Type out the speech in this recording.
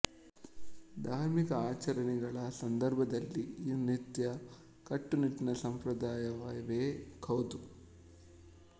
ಧಾರ್ಮಿಕ ಆಚರಣೆಗಳ ಸಂದರ್ಭದಲ್ಲಿ ಈ ನೃತ್ಯ ಕಟ್ಟುನಿಟ್ಟಿನ ಸಂಪ್ರದಾಯವೇ ಹೌದು